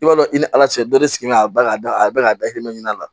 I b'a dɔn i ni ala cɛ dɔ de sigilen bɛ a bɛɛ ka da a bɛɛ ka da i ɲɛ la